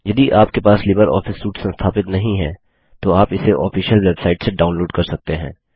यदि आपके पास लिबर ऑफिस सूट संस्थापित नहीं है तो आप इसे ऑफिशियल वेबसाइट से डाउनलोड़ कर सकते हैं